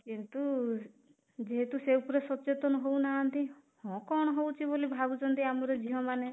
କିନ୍ତୁ ଯେହେତୁ ସେ ଉପରେ ସଚେତନ ହଉନାହାନ୍ତି , ହଁ କଣ ହଉଚି ବୋଲି ଭାବୁଛନ୍ତି ଆମର ଝିଅ ମାନେ